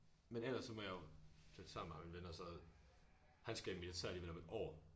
Men ellers så må jeg jo flytte sammen med ham min ven og så han skal i militæret alligevel om et år